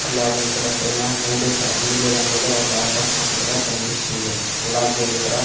అలాగే ఇక్కడ పైన నీలి క నీలిరంగులో ఒక ఆకాశం కూడా కనిపిస్తుంది అలాగే ఇక్కడ.